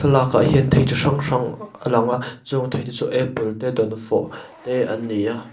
thlalak ah hian thei chi hrang hrang a a lang a chung thei te chu apple te dawnfawh te an ni a.